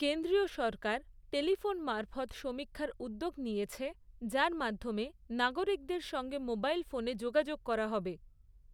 কেন্দ্রীয় সরকার টেলিফোন মারফৎ সমীক্ষার উদ্যোগ নিয়েছে, যার মাধ্যমে নাগরিকদের সঙ্গে মোবাইল ফোনে যোগাযোগ করা হবে।